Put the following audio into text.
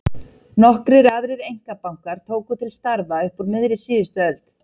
Nokkrir aðrir einkabankar tóku til starfa upp úr miðri síðustu öld.